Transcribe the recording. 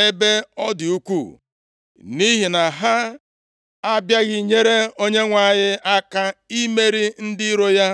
esonyeghị ndị Izrel mgbe ha na-alụ agha, ha e nyeghịkwa aka jide ndị iro Izrel e meriri emeri, mgbe ha na-agbapụ ọsọ ndu, ya mere e ji bụọ ha ọnụ. ọnụ.’ ‘Bụọ ndị bi na ya ọnụ ebe ọ dị ukwuu, nʼihi na ha abịaghị nyere Onyenwe anyị aka imeri ndị iro ya.’